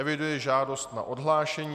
Eviduji žádost na odhlášení.